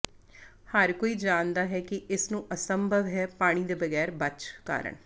ਹਰ ਕੋਈ ਜਾਣਦਾ ਹੈ ਕਿ ਇਸ ਨੂੰ ਅਸੰਭਵ ਹੈ ਪਾਣੀ ਦੇ ਬਗੈਰ ਬਚ ਕਰਨ